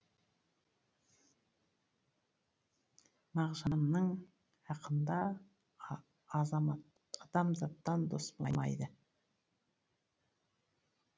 мағжанның ақында азамат адамзаттан дос болмайды